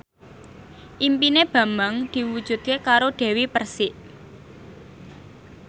impine Bambang diwujudke karo Dewi Persik